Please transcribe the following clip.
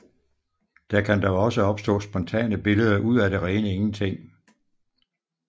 Der kan dog også opstå spontane billeder ud af det rene ingenting